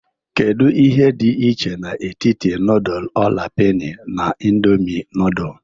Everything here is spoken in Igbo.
Kedu ihe dị iche n'etiti nudul ola peni na indomi nudul?